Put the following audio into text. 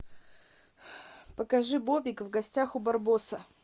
покажи бобик в гостях у барбоса